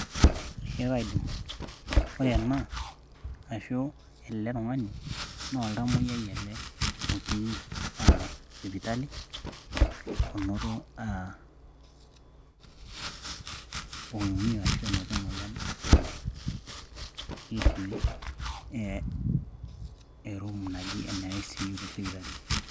ee kaidim. ore ena ashu ele tung'ani naa oltamoyiai ele otii sipitali. onoto ,oimie ashu onoto emoyian fulani, netii e room naji ene ICU te sipitali.